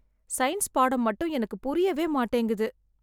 Science பாடம் மட்டும் எனக்கு புரியவே மாட்டேங்குது.